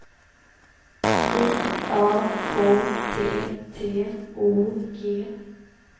I A K T T O G